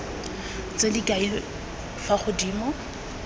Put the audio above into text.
tse di kailweng fa godimo